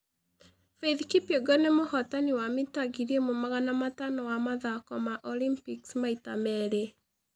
Faith Kipyegon nĩ mũhootani wa metha 1500 wa mathako ma Olympics maita merĩ.